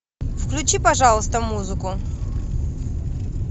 включи пожалуйста музыку